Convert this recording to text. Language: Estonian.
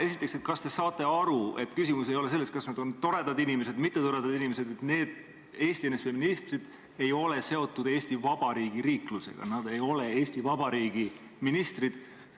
Esiteks, kas te saate aru, et küsimus ei ole selles, kas nad on toredad inimesed või mittetoredad inimesed, vaid need Eesti NSV ministrid ei ole seotud Eesti Vabariigi riiklusega, nad ei ole Eesti Vabariigi ministrid?